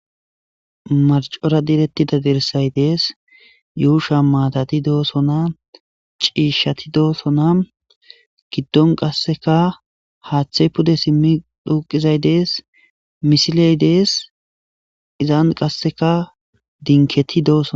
marcora direttida dirsay dees yuusha maatati doosona ciishshati doosona giddon qasseka haaththey pude simmi duuqizay dees misiley dees izaan qasseka dinketi doosonaa